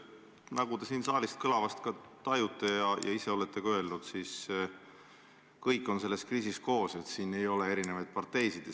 Nagu te siin saalist kõlavast tajute ja olete ka öelnud, siis kõik on selles kriisis koos, siin ei ole erinevaid parteisid.